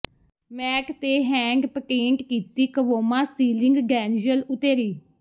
mat ਤੇ hand patent ਕੀਤੀ ਕਵੋਮਾ ਸੀਲਿੰਗ ਡੈਨਯਲ ਓਤੇਰੀ